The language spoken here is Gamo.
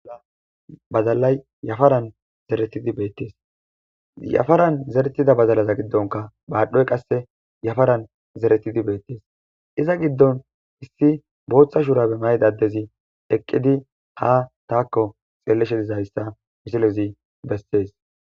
Badalayi yafaran zeretida badalayi betees yafaran zeretida badala gidon madhoyi zeretidi betees iza gidon issi botha shurabe mayida adezi betees izi eqidi ha tako xelishe dizayisa misilezi besees